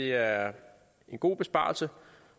er en god besparelse